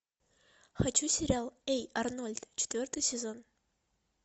хочу сериал эй арнольд четвертый сезон